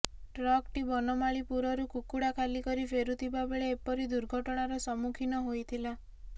ଟ୍ରକ୍ଟି ବନମାଳିପୁରରୁ କୁକୁଡ଼ା ଖାଲିକରି ଫେରୁଥିବା ବେଳେ ଏପରି ଦୁର୍ଘଟଣାର ସମ୍ମୁଖୀନ ହୋଇଥିଲା